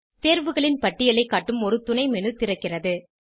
தேர்வுகளின் பட்டியலைக் காட்டும் ஒரு துணை மேனு திறக்கிறது